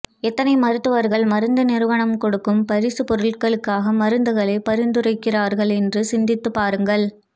எத்தனை மருத்துவர்கள் மருந்து நிறுவனம் கொடுக்கும் பரிசு பொருட்களுக்காக மருந்துகளை பரிந்துரைக்கிறார்கள் என்று சிந்தித்து பாருங்கள்